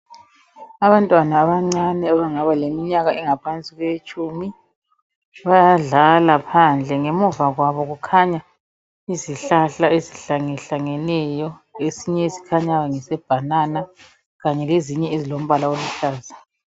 Abantwana abancane abangaba leminyaka engaphansi kwetshumi, bayadlala phandle, ngemuva kwabo kukhanya izihlahla ezihlangehlangeneyo, lesinye esikhanyayo ngese bhanana kanye lezinye ezilombala oluhlaza.